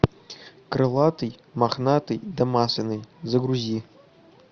крылатый мохнатый да масляный загрузи